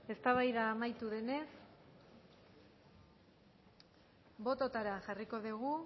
ez eztabaida amaitu denez bototara jarriko dugu